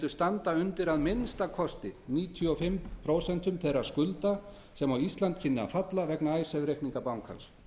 standa undir að minnsta kosti níutíu og fimm prósent þeirra skulda sem á ísland kynni að falla vegna icesave reikninga bankans